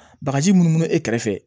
Bagaji mun bɛ e kɛrɛfɛ